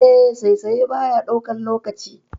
Eh, saisaye baya ɗaukan lokaci.